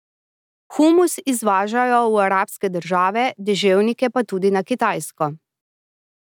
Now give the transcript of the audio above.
Humus izvažajo v arabske države, deževnike pa tudi na Kitajsko.